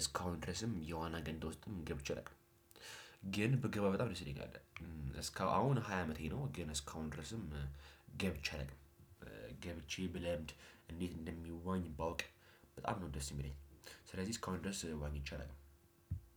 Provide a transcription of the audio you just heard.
እስከ አሁን ድረስም የዋና ገንዳ ውስጥም ገብቼ አላውቅም። ግን ቢገባ በጣም ደስ ይለኛል። አሁን ሃያ አመቴ ነው ግን እስከ አሁን ድረስም ገብቼ አለውቅም። ግብቼ ቢለምድ እንዴት እንደሚዋኝ ባውቅ በጣም ነው ደስ የሚለኝ። ስለዚህ እስካሁን ድረስ ዋኝቼ አለውቅም።